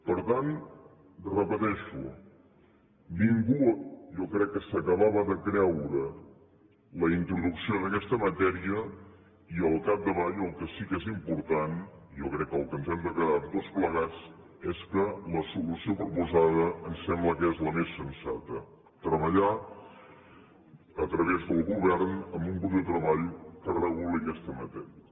per tant ho repeteixo ningú jo crec que s’acabava de creure la introducció d’aquesta matèria i al capdavall el que sí que és important jo crec que amb el que ens hem de quedar tots plegats és que la solució proposada em sembla que és la més sensata treballar a través del govern amb un grup de treball que reguli aquesta matèria